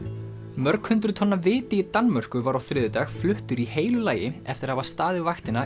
mörg hundruð tonna viti í Danmörku var á þriðjudag fluttur í heilu lagi eftir að hafa staðið vaktina